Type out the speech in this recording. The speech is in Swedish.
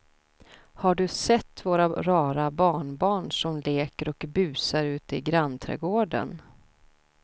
Har du sett våra rara barnbarn som leker och busar ute i grannträdgården!